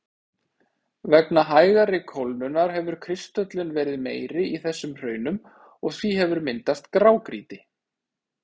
Vegna hægari kólnunar hefur kristöllun verið meiri í þessum hraunum og því hefur myndast grágrýti.